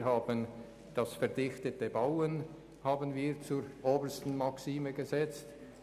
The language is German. Wir haben das «verdichtete Bauen» zur obersten Maxime gemacht.